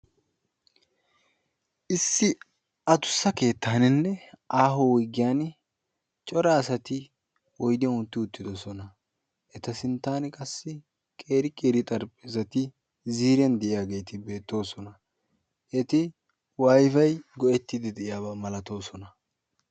Issi adussa keettaaninne aaho wuyigiyan cora asati oyidiyan uttidi uttidosona. Eta sinttaani qassi qeeri qeeri xarapheezzati ziiriyan de'iyageeti beettoosona. Eti wifi go'ettiiddi de'iyabaa malatoosona.